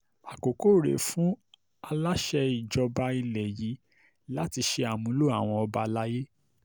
àkókò rèé fáwọn aláṣẹ ìjọba ilẹ̀ yìí láti ṣe àmúlò àwa ọba alay